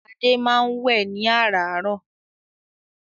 Adé máa ń wẹ́ ẹ̀ ní àràárọ̀.